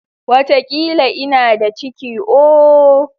Watakila ina da ciki ooo.